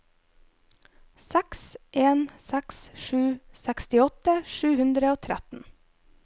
seks en seks sju sekstiåtte sju hundre og tretten